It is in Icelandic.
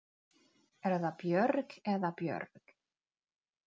Er það Björg eða Björg?